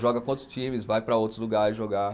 Joga com outros times, vai para outros lugares jogar.